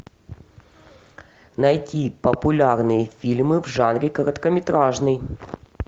найти популярные фильмы в жанре короткометражный